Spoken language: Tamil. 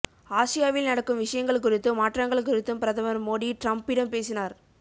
ஆசியாவில் நடக்கும் விஷயங்கள் குறித்தும் மாற்றங்கள் குறித்தும் பிரதமர் மோடி டிரம்ப்பிடம் பேசினார்